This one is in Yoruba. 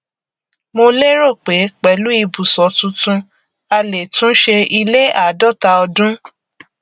mo lérò pé pẹlú ibùsọ tuntun a lè túnṣe ilé àádọta ọdún